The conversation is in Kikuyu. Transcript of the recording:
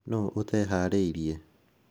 Nũ ũteharĩrĩirie?